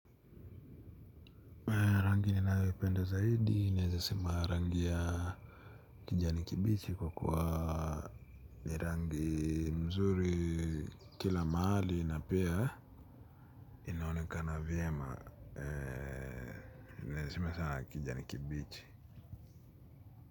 Rangi ninayoipenda zaidi naeza sema ni rangi ya kijani kibichi kwa kwa ni rangi mzuri kila mahali napea inaonekana vyema inaweza sema sana kijani kibichi.